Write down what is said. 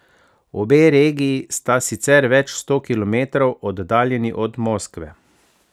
Obe regiji sta sicer več sto kilometrov oddaljeni od Moskve.